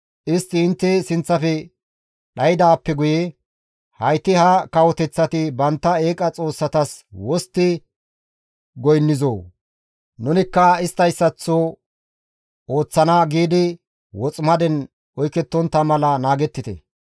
istti intte sinththafe dhaydaappe guye, «Hayti ha kawoteththati bantta eeqa xoossatas wostti goynnizoo? Nunikka isttayssaththo ooththana» giidi woximaden oykettontta mala naagettite.